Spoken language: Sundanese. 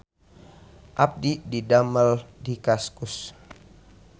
Abdi didamel di Kaskus